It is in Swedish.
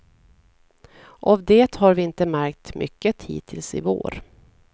Av det har vi inte märkt mycket hittills i vår.